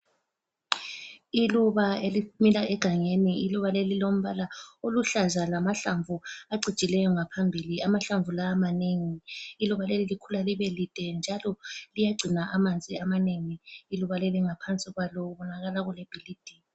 Iluba elimila egangeni. Iluba leli lilombala oluhlaza lamahlamvu acijileyo ngaphambili. Amahlamvu la manengi. Iluba leli likhula libe lide njalo liyagcina amanzi amanengi. Iluba leli ngaphansi kwalo kubonakala kulebhilidi.